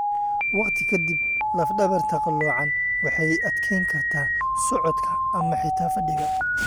Waqti ka dib laf dhabarta qaloocan waxay adkeyn kartaa socodka ama xitaa fadhiga.